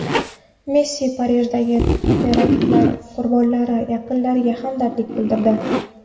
Messi Parijdagi teraktlar qurbonlari yaqinlariga hamdardlik bildirdi.